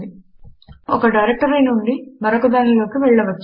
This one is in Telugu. మనము ఒక డైరెక్టరీ నుండి మరొక దానిలోకి వెళ్ళవచ్చు